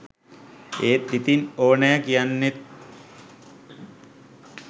ඒත් ඉතින් ඕනයා කියන්නෙත්